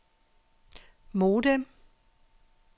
modem